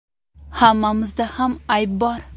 Hammamizda ham ayb bor.